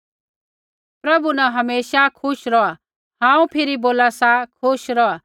प्रभु न हमेशा खुश रौहा हांऊँ फिरी बोला सा खुश रौहा